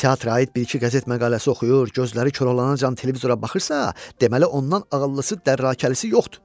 Teatra aid bir-iki qəzet məqaləsi oxuyur, gözləri koralanacan televizora baxırsa, deməli ondan ağıllısı dərakəlisi yoxdur.